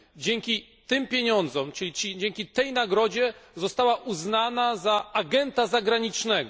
Dzięki tym pieniądzom, czyli dzięki tej nagrodzie, została uznana za agenta zagranicznego.